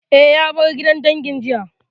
Eh, ya bar gidan dangin dangi jiya